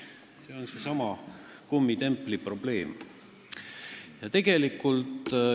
See on seesama kummitempli probleem.